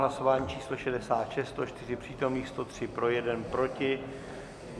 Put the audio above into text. Hlasování číslo 66, 104 přítomných, 103 pro, 1 proti.